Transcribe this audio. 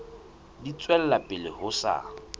di tswela pele ho sa